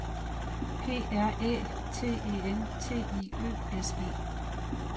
P R Æ T E N T I Ø S E